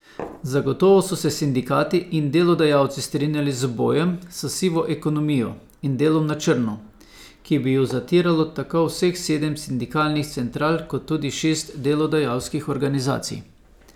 Zagotovo so se sindikati in delodajalci strinjali z bojem s sivo ekonomijo in delom na črno, ki bi ju zatiralo tako vseh sedem sindikalnih central kot tudi šest delodajalskih organizacij.